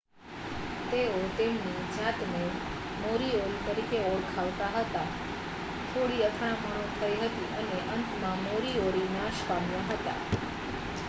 તેઓ તેમની જાતને મોરીઓરી તરીકે ઓળખાવતા હતા થોડી અથડામણો થઇ હતી અને અંતમાં મોરીઓરી નાશ પામ્યા હતા